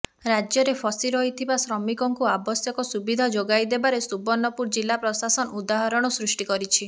ରାଜ୍ୟରେ ଫସିରହିଥିବା ଶ୍ରମିକଙ୍କୁ ଆବଶ୍ୟକ ସୁବିଧା ଯୋଗାଇଦେବାରେ ସୁବର୍ଣ୍ଣପୁର ଜିଲା ପ୍ରଶାସନ ଉଦାହରଣ ସୃଷ୍ଟି କରିଛି